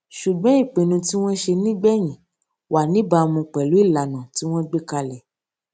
ṣùgbọn ìpinnu tí wón ṣe nígbèyìn wà níbàámu pèlú ìlànà tí wón gbé kalè